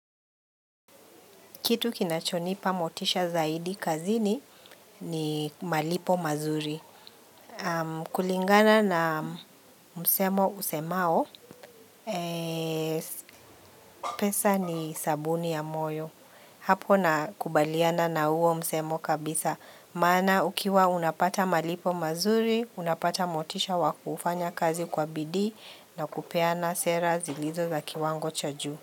Kitu kinachonipa motisha zaidi kazini ni malipo mazuri. Kulingana na msemo usemao, pesa ni sabuni ya moyo. Hapo nakubaliana na huo msemo kabisa. Maana ukiwa unapata malipo mazuri, unapata motisha wakufanya kazi kwa bidii na kupeana sera zilizo za kiwango cha juu.